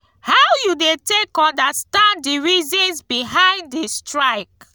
how you dey take understand di reasons behind di strike?